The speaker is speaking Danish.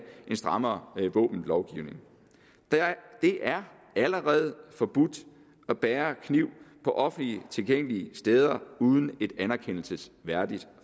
en strammere våbenlovgivning det er allerede forbudt at bære kniv på offentligt tilgængelige steder uden et anerkendelsesværdigt